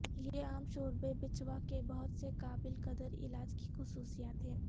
یہ عام شوربے بچھوا کے بہت سے قابل قدر علاج کی خصوصیات ہے